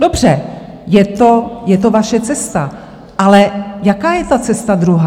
Dobře, je to vaše cesta, ale jaká je ta cesta druhá?